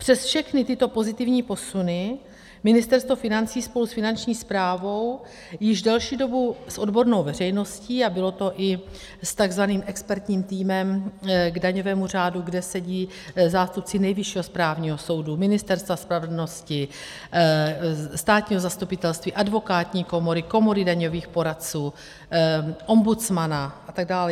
Přes všechny tyto pozitivní posuny Ministerstvo financí spolu s Finanční správou již delší dobu s odbornou veřejností - a bylo to i s takzvaným expertním týmem k daňovému řádu, kde sedí zástupci Nejvyššího správního soudu, Ministerstva spravedlnosti, státního zastupitelství, advokátní komory, Komory daňových poradců, ombudsmana a tak dále.